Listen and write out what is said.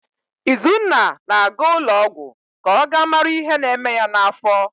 Izunna na-aga ụlọọgwụ ka ọ gaa mara ihe na-eme ya n'afọ